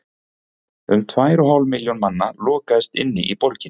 um tvær og hálf milljón manna lokaðist inni í borginni